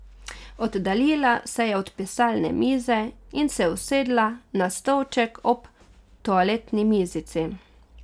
Oddaljila se je od pisalne mize in se usedla na stolček ob toaletni mizici.